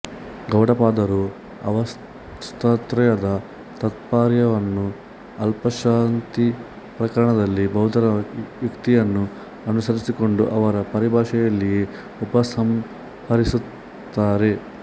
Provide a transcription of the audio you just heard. ಗೌಡಪಾದರು ಅವಸ್ಥಾತ್ರಯದ ತಾತ್ಪರ್ಯವನ್ನು ಅಲಾತಶಾಂತಿಪ್ರಕರಣದಲ್ಲಿ ಬೌದ್ಧರ ಯುಕ್ತಿಯನ್ನು ಅನುಸರಿಸಿಕೊಂಡು ಅವರ ಪರಿಭಾಷೆಯಲ್ಲಿಯೇ ಉಪಸಂಹರಿಸಿರುತ್ತಾರೆ